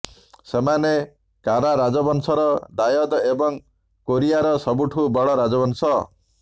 ସେମାନେ କାରା ରାଜବଂଶର ଦାୟଦ ଏବଂ କୋରିଆର ସବୁଠୁ ବଡ଼ ରାଜବଂଶ